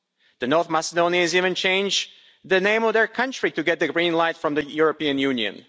The North Macedonians even changed the name of their country to get the green light from the European Union.